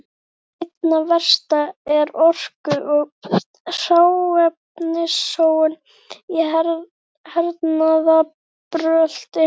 Einna verst er orku- og hráefnasóun í hernaðarbrölti.